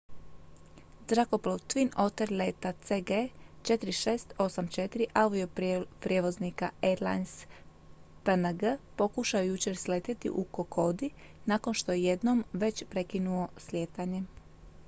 zrakoplov twin otter leta cg 4684 avioprijevoznika airlines png pokušao je jučer sletjeti u kokodi nakon što je jednom već prekinuo slijetanje